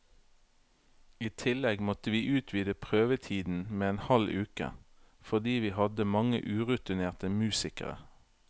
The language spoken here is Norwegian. I tillegg måtte vi utvide prøvetiden med en halv uke, fordi vi hadde mange urutinerte musikere.